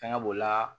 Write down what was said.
Fɛngɛ b'o la